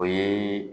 O ye